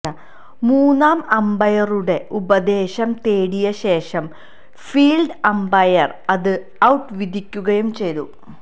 മൂന്നാം അമ്പയറുടെ ഉപദേശം തേടിയശേഷം ഫീല്ഡ് അമ്പയര് അത് ഔട്ട് വിധിക്കുകയും ചെയ്തു